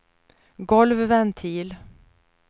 golvventil